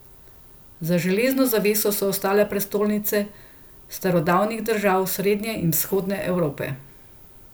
Za železno zaveso so ostale prestolnice starodavnih držav Srednje in Vzhodne Evrope.